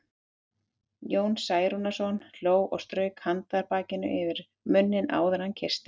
Jón Særúnarson hló og strauk handarbakinu yfir munninn áður en hann kyssti